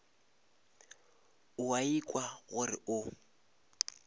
o a ikwa gore o